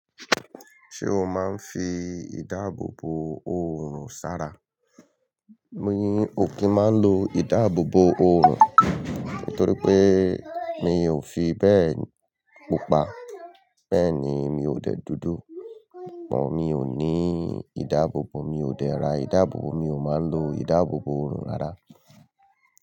Ṣé o máa ń fi ìdáàbòbò oorun ṣàrà? Mi ò kí ń máa lo ìdáàbòbò oorun, nítorí pé mi ò fi bẹ́ẹ̀ pupa. Bẹ́ẹ̀ ni, mi ò dẹ̀ dùdù. Mí ò ní ìdáàbòbò, mi ò dẹ ra ìdáàbòbò, mi ò máa ń lo ìdáàbòbò òòrùn rárá.